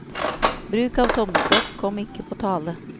Bruk av tommestokk kom ikke på tale.